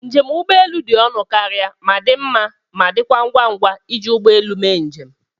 Njem ụgbọelu dị ọnụ karịa ma dị mma ma, dịkwa ngwa ngwa iji ụgbọ elu mee njem.